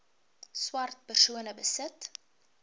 swart persone besit